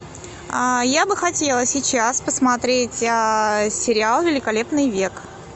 я бы хотела сейчас посмотреть сериал великолепный век